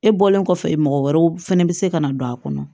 E bɔlen kɔfɛ mɔgɔ wɛrɛw fɛnɛ bi se ka na don a kɔnɔ